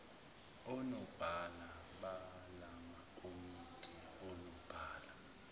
onobhala balamakomidi onobhala